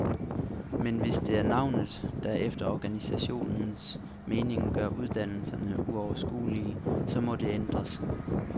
Men hvis det er navnet, der efter organisationernes mening gør uddannelserne uoverskuelige, så må det ændres.